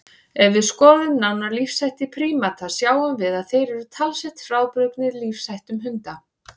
Ef við skoðum nánar lífshætti prímata sjáum við að þeir eru talsvert frábrugðnir lífsháttum hunda.